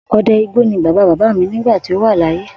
O̩de̩ igbó ni bàbá bàbá mi nígbà tí ó wà láyé